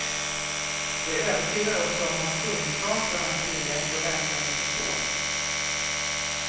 Det övertygar också om hans kunskaper och hans vilja att få läsaren att förstå.